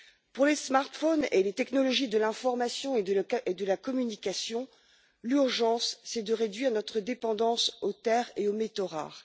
Pour les smartphones et les technologies de l'information et de la communication, l'urgence, c'est de réduire notre dépendance aux terres et aux métaux rares.